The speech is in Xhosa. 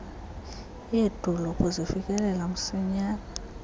yedolophu zifikelela msinyane